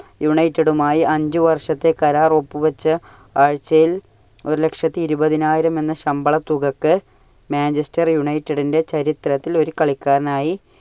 united മായി അഞ്ചു വർഷത്തെ കരാർ ഒപ്പുവെച്ച് ആഴ്ചയിൽ ഒരുലക്ഷത്തി ഇരുപതിനായിരം എന്ന ശമ്പള തുകയ്ക്കു Manchester united ന്റെ ചരിത്രത്തിൽ ഒരു കളിക്കാരനായി